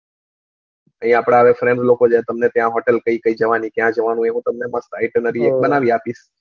એ આપડા friends લોકો હવે જાય તમને ત્યાં hotel કઈ કૈક જવાની કાય જવાનું